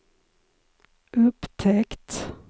upptäckt